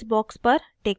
इस बॉक्स पर टिक करें